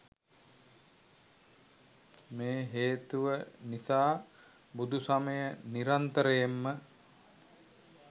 මේ හේතුව නිසා බුදුසමය නිරන්තරයෙන්ම